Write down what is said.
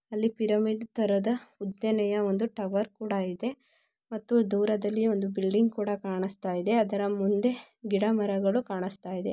ಅಲ್ಲಿ ಪಿರಮಿಡ್ ತರದ ಉದ್ದನೆಯ ಒಂದು ಟವರ್ ಕೂಡ ಇದೆ ಮತ್ತು ದೂರದಲ್ಲಿ ಒಂದು ಬಿಲ್ಡಿಂಗ್ ಕೂಡ ಕಾಣಿಸ್ತಾ ಇದೆ ಅದರ ಮುಂದೆ ಗಿಡಮರಗಳು ಕಾಣಿಸ್ತಾ ಇದೆ.